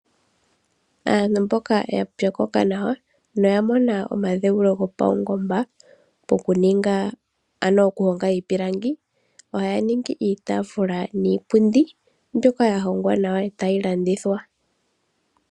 Aantu mboka yapyokoka nawa noya mona omadheulo omawanawa ohaya hongo iipundi niitaafula mbyoka ya longwa miipilangi etaye yi kanditha ya mone iimaliwa.